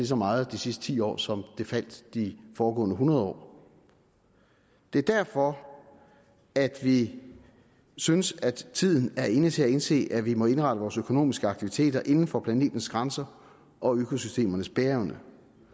så meget de sidste ti år som den faldt de foregående hundrede år det er derfor at vi synes at tiden er inde til at indse at vi må indrette vores økonomiske aktiviteter inden for planetens grænser og økosystemernes bæreevne